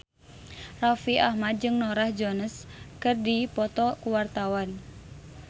Raffi Ahmad jeung Norah Jones keur dipoto ku wartawan